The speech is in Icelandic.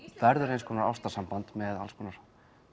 verður eins konar ástarsamband með alls konar